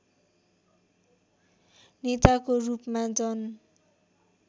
नेताको रूपमा जन